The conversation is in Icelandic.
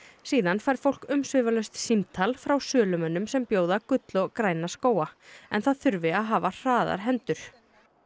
síðan fær fólk umsvifalaust símtal frá sölumönnum sem bjóða gull og græna skóga en það þurfi að hafa hraðar hendur